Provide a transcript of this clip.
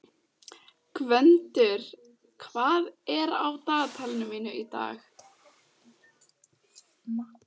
Gvöndur, hvað er á dagatalinu mínu í dag?